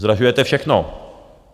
Zdražujete všechno.